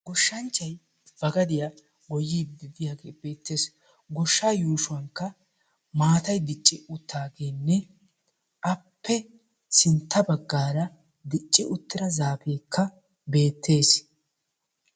Goshshanchchay ba gadiya goyyiiddi de'iyaage beettes goshshaa yuushuwankka maatay dicci uttaageenne appe sintta baggaara dicci uttira zaafeekka beettes